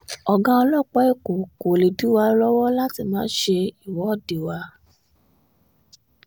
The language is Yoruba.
ọ̀gá ọlọ́pàá èkó kó lè dí wa lọ́wọ́ láti má ṣe ìwọ́de wa